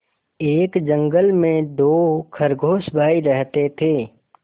एक जंगल में दो खरगोश भाई रहते थे